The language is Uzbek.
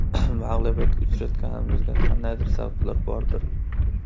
Mag‘lubiyatga uchrayotganimizga qandaydir sabablar bordir.